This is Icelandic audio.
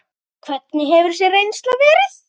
Hvernig hefur þessi reynsla verið?